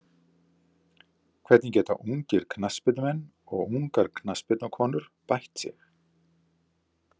Hvernig geta ungir knattspyrnumenn og ungar knattspyrnukonur bætt sig?